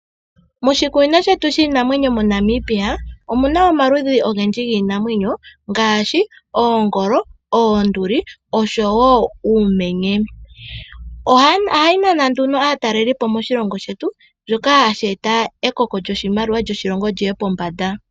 Moshikunino shetu shiinamwenyo moNamibia omuna omaludhi ogendji giinamwenyo ngaashi oongolo, oonduli noshowoo uumenye. Ohayi nana nduno aatalelipo moshilongo shetu, shoka hashi eta ekoko lyoshimaliwa lyoshilongo lyiye pombanda.